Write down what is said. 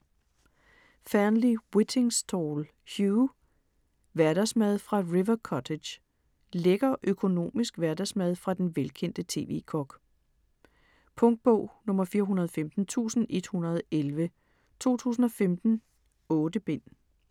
Fearnley-Whittingstall, Hugh: Hverdagsmad fra River Cottage Lækker økonomisk hverdagsmad fra den velkendte TV-kok. Punktbog 415111 2015. 8 bind.